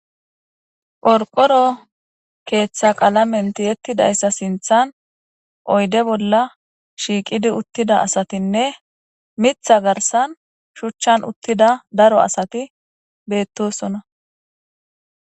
Porqoro keeththa qaalamenti yettidayssa sinthan oyde bolla shiiqidi uttida asatinne mitha garsan shuchchan uttida daro asati beettosona.